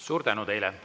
Suur tänu teile!